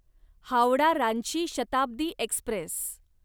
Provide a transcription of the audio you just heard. Howrah Ranchi Shatabdi Express